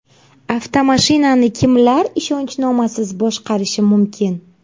Avtomashinani kimlar ishonchnomasiz boshqarishi mumkin?.